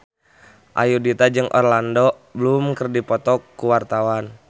Ayudhita jeung Orlando Bloom keur dipoto ku wartawan